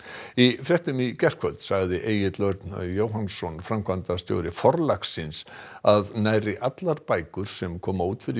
í fréttum í gærkvöldi sagði Egill Örn Jóhannsson framkvæmdastjóri Forlagsins að nærri allar bækur sem koma út fyrir